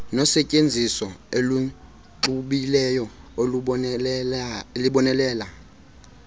nosetyenziso oluxubileyo olubonelela